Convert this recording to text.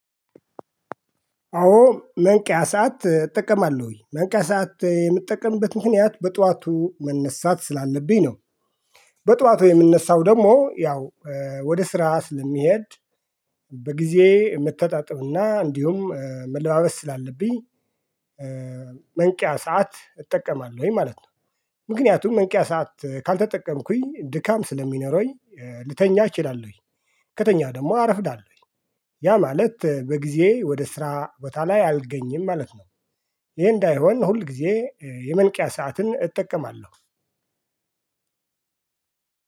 አዎ መንቂያ ሰዓት እጠቀማለሁኝ መንቂያ ሰዓት የምጠቀምበት ምክንያት በጠዋቱ መነሳት ስላለብኝ ነው። በጠዋት የምንነሳው ደግሞ ያው ወደ ስራ ስለሚሄድ በጊዜ መተጣጠብና እንዲሁም መለባበስ ስላለብኝ መንቂያ ሰዓት እጠቀማለሁኝ ማለት ነው። ምክንያቱም መንቂያ ሰዓት ካልተጠቀምኩኝ ድካም ስለሚኖረኝ ልተኛ እችላለሁኝ ከተኛ ደግሞ አረፍዳለሁኝ። ያ ማለት በጊዜ ወደ ስራ ቦታ ላይ አልገኝም ማለት ነው። ይሄ እንዳይሆን ሁል ጊዜ የመንቂያ ሰዓትን እጠቀማለሁ።